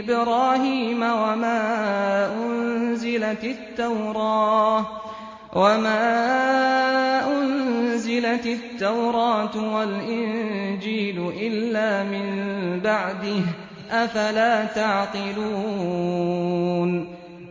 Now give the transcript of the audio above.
إِبْرَاهِيمَ وَمَا أُنزِلَتِ التَّوْرَاةُ وَالْإِنجِيلُ إِلَّا مِن بَعْدِهِ ۚ أَفَلَا تَعْقِلُونَ